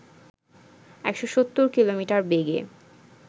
১৭০ kilometre বেগে